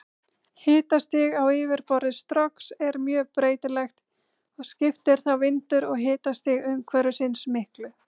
Hitastig á yfirborði Strokks er mjög breytilegt og skiptir þá vindur og hitastig umhverfisins miklu.